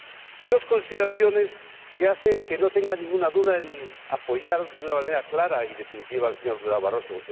Y dos consideraciones que hacen que no tenga ninguna duda en apoyar de una manera clara y definitiva al señor Durão Barroso.